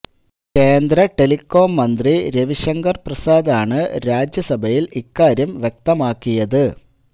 കേന്ദ്ര ടെലികോം മന്ത്രി രവി ശങ്കർ പ്രസാദാണ് രാജ്യസഭയിൽ ഇക്കാര്യം വ്യക്തമാക്കിയത്